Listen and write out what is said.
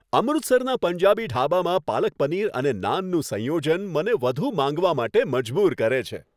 અમૃતસરના પંજાબી ઢાબામાં પાલક પનીર અને નાનનું સંયોજન, મને વધુ માંગવા માટે મજબૂર કરે છે.